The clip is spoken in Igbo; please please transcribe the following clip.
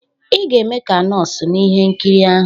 "Ị ga-eme ka nọọsụ n'ihe nkiri ahụ"